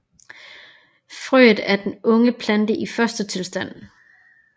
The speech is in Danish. Frøet er den unge plante i fostertilstand